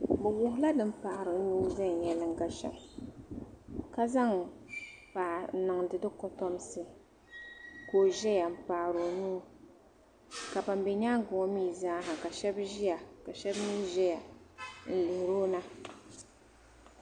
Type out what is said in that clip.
Bi wuhiya bi ni paɣiri nuhi venyalinga shɛm kazaŋ paɣa n niŋ di dikotɔmsi ka ozɛya m paɣiri ɔnuu ka ban be nyaaŋa ŋɔ mi zaaha ka shɛb ziya. ka shab mi zɛya n lihirɔna.